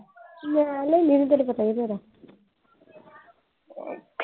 ਮੈਂ ਲੈਣੀ ਨਹੀਂ ਤਿਣੁ ਪਤਾ ਈ ਮੇਰਾ